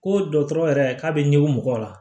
Ko dɔgɔtɔrɔ yɛrɛ k'a be ɲɛg'u mɔgɔ la